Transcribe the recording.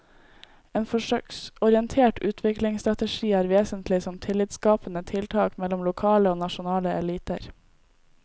En forsøksorientert utviklingsstrategi er vesentlig som tillitsskapende tiltak mellom lokale og nasjonale eliter.